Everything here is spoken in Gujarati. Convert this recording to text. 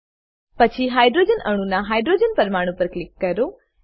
પછી હાઇડ્રોજન અણુના હાઇડ્રોજન પરમાણુ પર ક્લિક કરો